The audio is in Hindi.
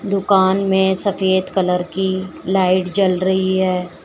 दुकान में सफेद कलर की लाइट जल रही है।